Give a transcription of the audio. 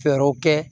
Fɛɛrɛw kɛ